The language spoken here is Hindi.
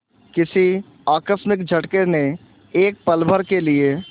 किसी आकस्मिक झटके ने एक पलभर के लिए